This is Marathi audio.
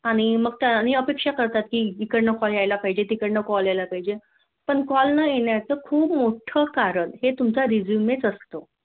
आणि मग अपेक्षा करता इकडन कॉल यायला पाहिजे तिकडन कॉल यायला पाहिजे. पण कॉल न येण्याचं खूप मोठं कारण हे तुमचं Resume च असत